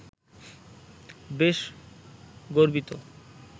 বেশ গর্বিত